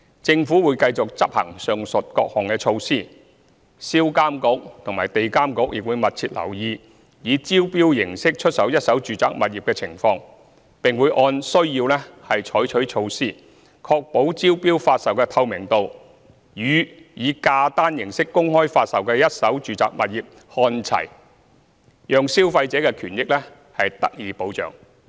政府會繼續執行上述各項措施，銷監局及地監局亦會密切留意以招標形式出售一手住宅物業的情況，並會按需要採取措施，確保招標發售的透明度與以價單形式公開發售的一手住宅物業看齊，讓消費者的權益得到保障。